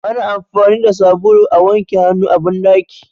Ana amfani da sabulu a wanke hannu a banɗaki.